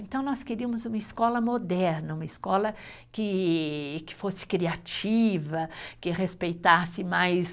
Então, nós queríamos uma escola moderna, uma escola queee, que fosse criativa, que respeitasse mais...